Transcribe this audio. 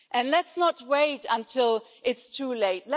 Let's not wait until it's too late.